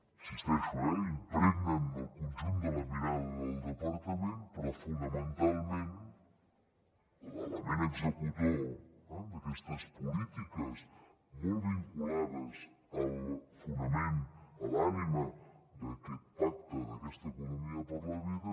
hi insisteixo eh impregnen el conjunt de la mirada del departament però fonamentalment l’element executor d’aquestes polítiques molt vinculades al fonament a l’ànima d’aquest pacte d’aquesta economia per la vida